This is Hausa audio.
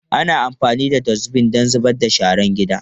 Ana amfani da Dustbin don zubar da sharar gida.